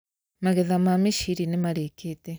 Magetha ma mĩciri nĩmarĩkite